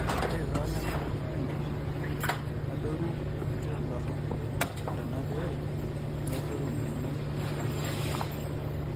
ore too nena sipinash adorru nitodoropi ntona pee meedorru mbenek alang enchani